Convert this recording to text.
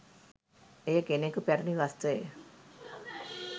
එය කෙනකු පැරැණි වස්ත්‍රය